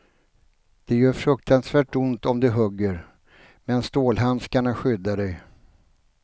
Det gör fruktansvärt ont om de hugger, men stålhandskarna skyddar dig.